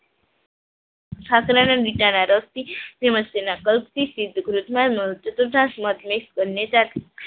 ખાખરાના મીઠા ના રસથી તેના કલ્પથી